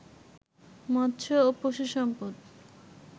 মৎস্য ও পশুসম্পদ